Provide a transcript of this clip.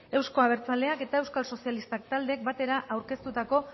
euzko abertzaleak eta euskal sozialistak taldeek batera aurkeztutako